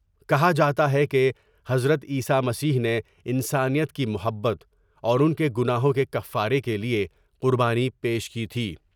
کہا جا تا ہے کہ حضرت عیسی مسیح نے انسانیت کی محبت اور ان کے گناہوں کے کفارے کے لئے قربانی پیش کی تھی ۔